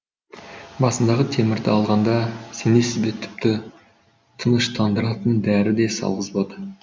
басындағы темірді алғанда сенесіз бе тіпті тыныштандыратын дәрі де салғызбады